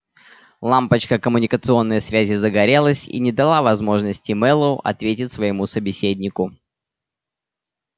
лампочка коммуникационной связи загорелась и не дала возможности мэллоу ответить своему собеседнику